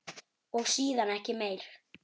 Og síðan ekki meir?